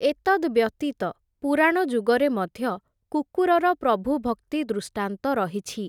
ଏତଦ୍‌ବ୍ୟତୀତ, ପୁରାଣ ଯୁଗରେ ମଧ୍ୟ, କୁକୁରର ପ୍ରଭୁଭକ୍ତି ଦୃଷ୍ଟାନ୍ତ ରହିଛି ।